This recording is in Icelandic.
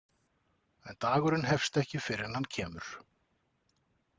En dagurinn hefst ekki fyrr en hann kemur.